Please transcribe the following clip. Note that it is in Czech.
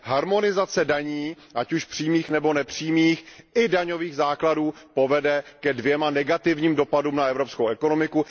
Harmonizace daní ať už přímých nebo nepřímých i daňových základů povede ke dvěma negativním dopadům na evropskou ekonomiku.